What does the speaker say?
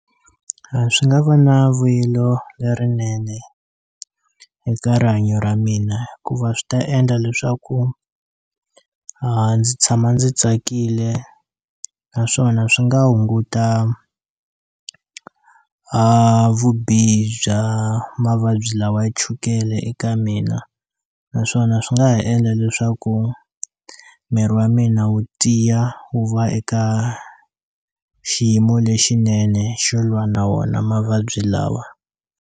A swi nga va na vuyelo lerinene eka rihanyo ra mina hikuva swi ta endla leswaku ndzi tshama ndzi tsakile naswona swi nga hunguta a vubihi bya mavabyi lawa ya chukele eka mina naswona swi nga ha endla leswaku miri wa mina wu tiya wu va eka xiyimo lexinene xo lwa na wona mavabyi lawa.